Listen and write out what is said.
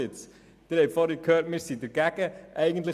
Sie haben vorher gehört, dass wir dagegen sind.